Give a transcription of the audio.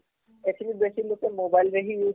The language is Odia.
ଏଥିନି ବେଶୀ ଲୁକ mobile ରେ use କରୁଛନ